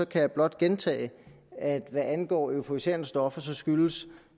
kan jeg blot gentage at hvad angår euforiserende stoffer skyldes